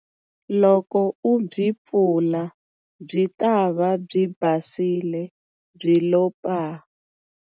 Loko u byi pfula, byi ta va byi basile byi lo paa!